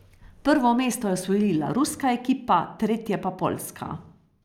Prvo mesto je osvojila ruska ekipa, tretje pa poljska.